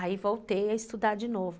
Aí voltei a estudar de novo.